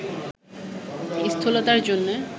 স্থূলতার জন্য